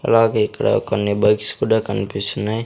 అలాగే ఇక్కడ కొన్ని బైక్స్ కూడా కనిపిస్తున్నాయ్.